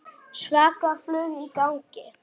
Svaka flug í gangi núna.